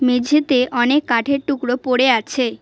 মেঝেতে অনেক কাঠের টুকরো পড়ে আছে।